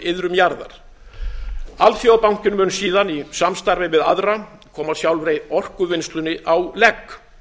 iðrum jarðar alþjóðabankinn mun síðan í samstarfi við aðra koma sjálfri orkuvinnslunni á legg